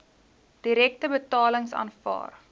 direkte betalings aanvaar